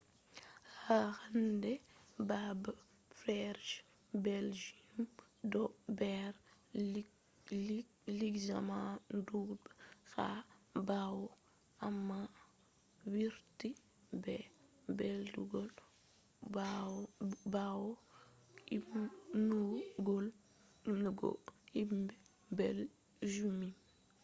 ha hande babe fere je belgium do der luxembourg ha bawo amma warti der belgium bawo ummugo himbe belgium